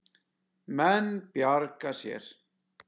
Menn bjarga sér.